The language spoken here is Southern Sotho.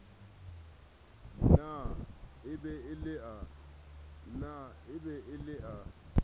na e be le a